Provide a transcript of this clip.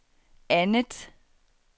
andet